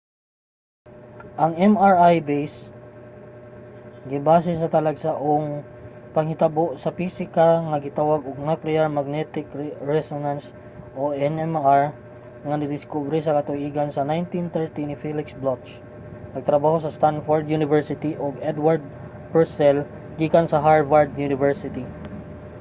ang mri gibase sa talagsaong panghitabo sa pisika nga gitawag og nuclear magnetic resonance nmr nga nadiskubre sa katuigan sa 1930 ni felix bloch nagtrabaho sa stanford university ug edward purcell gikan sa harvard university